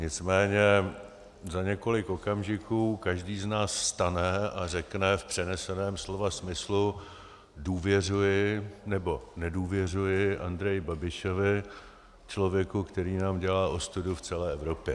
Nicméně za několik okamžiků každý z nás vstane a řekne - v přeneseném slova smyslu - důvěřuji nebo nedůvěřuji Andreji Babišovi, člověku, který nám dělá ostudu v celé Evropě.